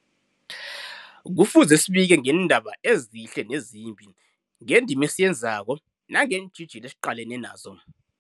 Kufuze zibike ngeendaba ezihle nezimbi, ngendima esiyenzako nangeentjhijilo esiqalene nazo.